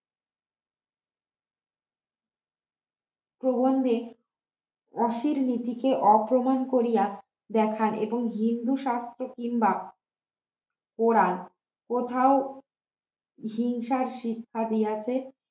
প্রবন্ধে অশির নীতি কে অপমান করিয়া দেখান এবং হিন্দু শাস্ত্রে কিংবা কোরান কোথাও হিংসার শিক্ষা দিয়েছে